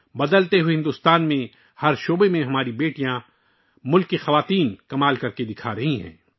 بدلتے ہوئے بھارت میں ہماری بیٹیاں، ملک کی عورتیں ہر میدان میں حیرت انگیز کارکردگی کا مظاہرہ کر رہی ہیں